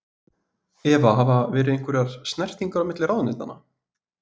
Eva: Hafa verið einhverjar snertingar á milli ráðuneytanna?